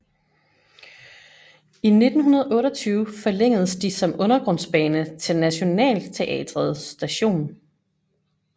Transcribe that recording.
I 1928 forlængedes de som undergrundsbane til Nationaltheatret Station